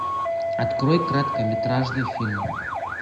открой краткометражный фильм